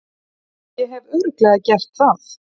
Ég hef Örugglega gert það.